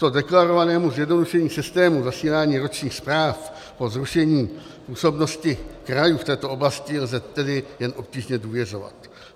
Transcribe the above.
Tomuto deklarovanému zjednodušení systému zasílání ročních zpráv po zrušení působnosti krajů v této oblasti lze tedy jen obtížně důvěřovat.